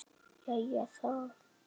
Jæja, það mátti reyna.